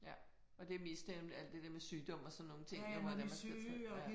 Ja og det er mest alt det der med sygdom og sådan nogle ting hvor det er man skal tage ja